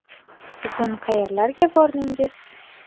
Bugun qayerlarga bordingiz?